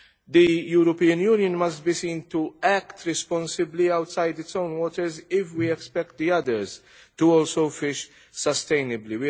The European Union must be seen to act responsibly outside its own waters if we expect others also to fish sustainably.